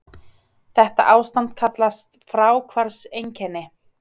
Þetta ástand kallast fráhvarfseinkenni.